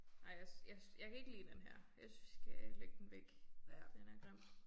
Nej jeg jeg jeg kan ikke lide den her. Jeg synes vi skal lægge den væk. Den er grim